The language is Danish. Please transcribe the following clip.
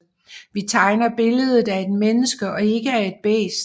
Vi tegner billedet af et menneske og ikke af et bæst